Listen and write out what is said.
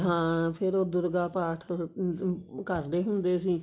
ਹਾਂ ਫ਼ੇਰ ਉਹ ਦੁਰਗਾ ਪਾਠ ਅਹ ਕਰਦੇ ਹੁੰਦੇ ਸੀ